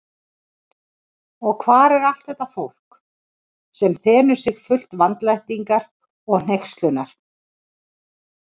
Og hvar er allt þetta fólk, sem þenur sig fullt vandlætingar og hneykslunar?